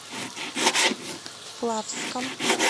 плавском